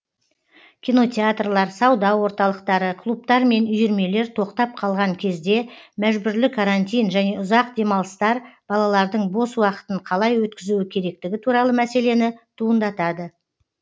кинотеатрлар сауда орталықтары клубтар мен үйірмелер тоқтап қалған кезде мәжбүрлі карантин және ұзақ демалыстар балалардың бос уақытын қалай өткізуі керектігі туралы мәселені туындатады